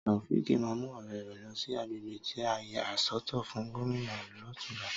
Tàòféèkì ma mu ọ̀rẹ́ rẹ̀ lọ sí àgbègbè tí a yà sọ́tọ̀ fún Gómìnà lotunla